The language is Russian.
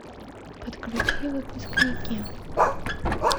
подключи выпускники